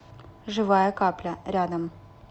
живая капля рядом